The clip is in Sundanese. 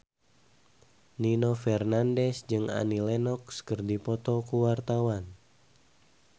Nino Fernandez jeung Annie Lenox keur dipoto ku wartawan